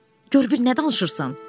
Gör bir nə danışırsan?